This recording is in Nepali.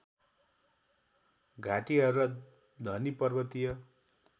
घाटिहरू र धनी पर्वतीय